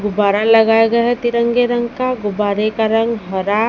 गुब्बारा लगाया गया है तिरंगे रंग का गुब्बारे का रंग हरा --